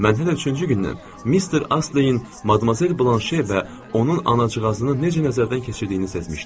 Mən hələ üçüncü gündən Mister Asteyin Madmazel Blanşe və onun anacığazını necə nəzərdən keçirdiyini sezmişdim.